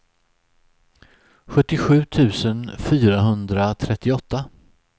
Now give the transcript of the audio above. sjuttiosju tusen fyrahundratrettioåtta